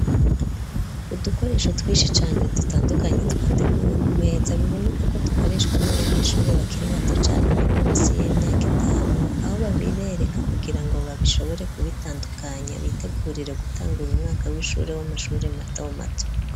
Udukoresho twishi cane dutandukanye twateguwe ku meta biboneka ko dukoreshwa n'abanyeshuri bakiri bato cane bari munsi y'imyaka itanu aho babibereka kugira ngo babishobore kubitandukanya bitegurire gutangura umwaka w'ishuri w'amashuri mato mato.